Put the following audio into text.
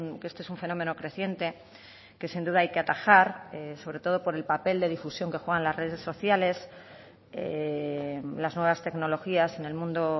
que este es un fenómeno creciente que sin duda hay que atajar sobre todo por el papel de difusión que juegan las redes sociales las nuevas tecnologías en el mundo